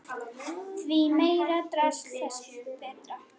Því meira drasl þess betra.